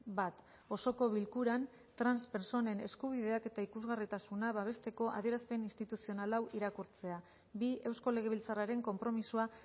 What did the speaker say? bat osoko bilkuran trans pertsonen eskubideak eta ikusgarritasuna babesteko adierazpen instituzional hau irakurtzea bi eusko legebiltzarraren konpromisoa